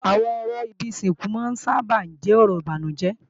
Àwọn ọ̀rọ̀ ibi ìsìnkú sábà máa ń jẹ́ ọ̀rọ̀ ìbànújẹ́